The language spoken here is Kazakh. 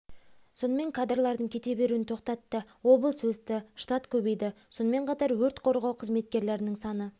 сонымен кадрлардың кете беруін тоқтатты облыс өсті штат көбейді сонымен қатар өрт қорғау қызметкерлерінің саны